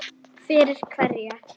Fyrir hverja